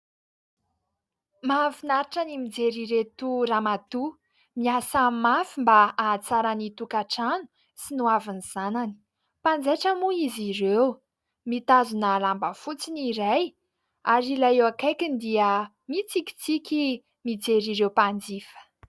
Mahafinaritra ny mijery ireto Ramatoa miasa mafy mba hahatsara ny tokantrano sy ny hoavin'ny zanany. Mpanjaitra moa izy ireo, mitazona lamba fotsy ny iray ary ilay eo akaikiny dia mitsikitsiky mijery ireo mpanjifa.